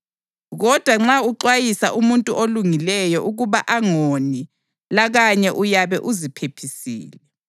Kodwa nxa uxwayisa umuntu olungileyo ukuba angoni lakanye uyabe uziphephisile.”